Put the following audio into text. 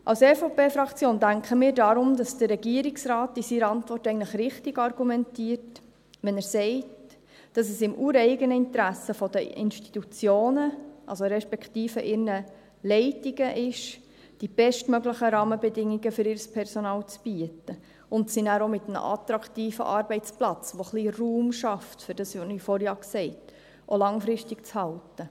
Die EVP-Fraktion denkt deshalb, dass der Regierungsrat in seiner Antwort eigentlich richtig argumentiert, wenn er sagt, dass es im ureigenen Interesse der Institutionen respektive ihrer Leitungen ist, die bestmöglichen Rahmenbedingungen für ihr Personal zu bieten, um sie nachher auch mit einem attraktiven Arbeitsplatz, der ein wenig Raum schafft für das, was ich vorhin gesagt habe, auch langfristig zu halten.